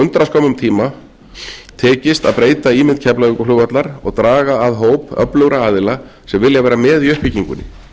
undraskömmum tíma tekist að breyta ímynd keflavíkurflugvallar og draga að hóp öflugra aðila sem vilja vera með í uppbyggingunni